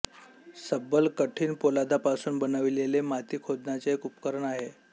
सब्बल कठीण पोलादापासून बनविलेले माती खोदण्याचे एक उपकरण आहे